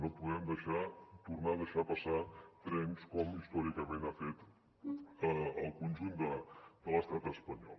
no podem tornar a deixar passar trens com històricament ha fet el conjunt de l’estat espanyol